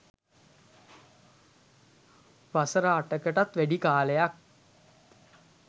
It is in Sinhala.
වසර අටකටත් වැඩි කාලයක්